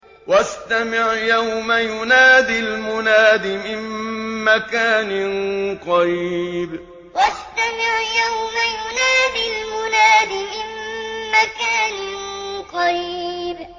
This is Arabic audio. وَاسْتَمِعْ يَوْمَ يُنَادِ الْمُنَادِ مِن مَّكَانٍ قَرِيبٍ وَاسْتَمِعْ يَوْمَ يُنَادِ الْمُنَادِ مِن مَّكَانٍ قَرِيبٍ